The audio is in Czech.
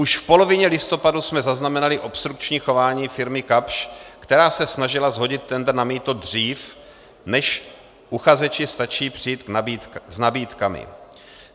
Už v polovině listopadu jsme zaznamenali obstrukční chování firmy Kapsch, která se snažila shodit tendr na mýto dřív, než uchazeči stačí přijít s nabídkami.